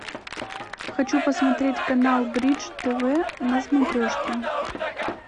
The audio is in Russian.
хочу посмотреть канал бридж тв на смотрешке